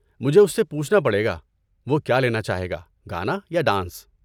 مجھے اس سے پوچھنا پڑے گا وہ کیا لینا چاہے گا، گانا یا ڈانس۔